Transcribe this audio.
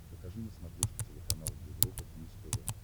покажи на смотрешке телеканал европа плюс тв